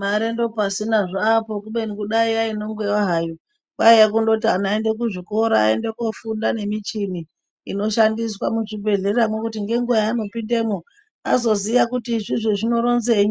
Mare ndopasina zvapo kubeni kudai yaino ngwewa hayo, kwaiye kundoti ana aende kuzvikora aende kofunda nemichini ino shandiswa muzvi bhedhleramwo kuti ngenguwa yaano pindemwo azoziye kuti izvizvi zvinoronzei,